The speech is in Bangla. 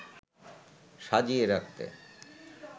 সাজিয়ে রাখতে